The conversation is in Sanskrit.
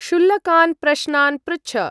क्षुल्लकान् प्रश्नान् पृच्छ।